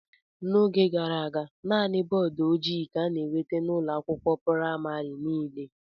N'oge gara aga, naanị bọọdụ ojii ka a na-enweta n'ụlọ akwụkwọ praịmarị niile.